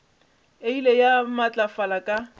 e ile ya matlafala ka